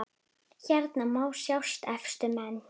Hérna má sjá efstu menn